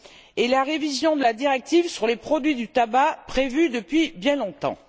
et la révision de la directive sur les produits du tabac prévue depuis bien longtemps.